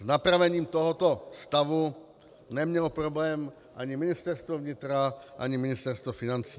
S napravením tohoto stavu nemělo problém ani Ministerstvo vnitra, ani Ministerstvo financí.